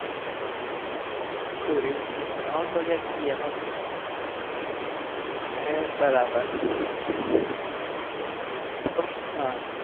શું reels veels બનાવો છો કે ખાલી એમ જ હે બરાબર હમ